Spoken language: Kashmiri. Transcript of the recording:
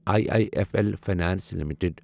I I F L finance limited